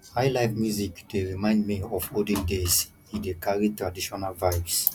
highlife music dey remind me of olden days e dey carry traditional vibes